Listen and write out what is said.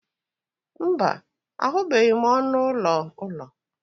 mba, ahụbeghị m ọnụ ụlọ ụlọ